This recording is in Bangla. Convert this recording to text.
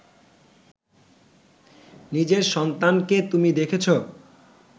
নিজের সন্তানকে তুমি দেখেছ